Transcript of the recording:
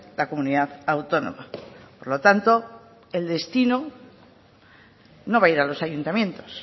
la comunidad autónoma por lo tanto el destino no va a ir a los ayuntamientos